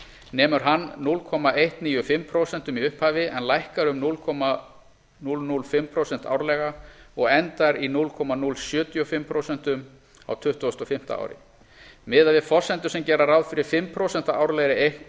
nemur hann núll komma einu níu fimm prósenti í upphafi en lækkar um núll komma núll núll fimm prósent árlega og endar í núll komma núll sjötíu og fimm prósentum á tuttugustu og fimmta ári miðað við forsendur sem gera ráð fyrir fimm prósent árlegri